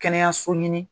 Kɛnɛyaso ɲini